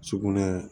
Sugunɛ